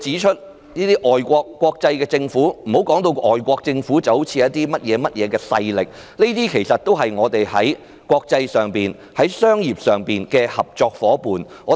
不要把外國政府、國際組織說成甚麼勢力，這些其實都是本港在國際商業上的合作夥伴。